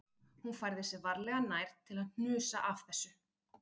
Hún færði sig varlega nær til að hnusa af þessu